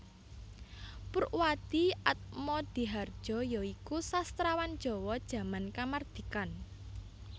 Poerwadhie Atmodhihardjo ya iku sastrawan Jawa jaman kamardikan